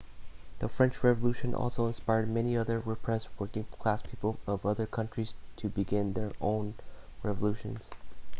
the french revolution also inspired many other repressed working class people of other country's to began their own revolutions